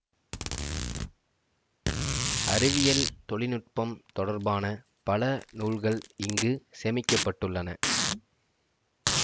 அறிவியல் தொழினுட்பம் தொடர்பான பல நூல்கள் இங்கு சேமிக்க பட்டுள்ளன